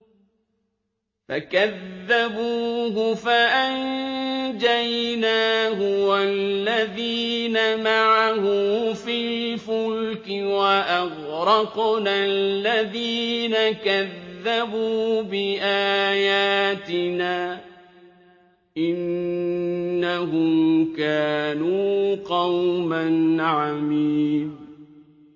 فَكَذَّبُوهُ فَأَنجَيْنَاهُ وَالَّذِينَ مَعَهُ فِي الْفُلْكِ وَأَغْرَقْنَا الَّذِينَ كَذَّبُوا بِآيَاتِنَا ۚ إِنَّهُمْ كَانُوا قَوْمًا عَمِينَ